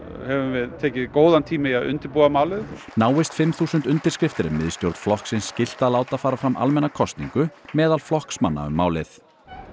höfum við tekið góðan tíma í að undirbúa málið náist fimm þúsund undirskriftir er miðstjórn flokksins skylt að láta fara fram almenna kosningu meðal flokksmanna um málið